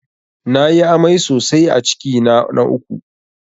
Na yi amai sosai a cikina na uku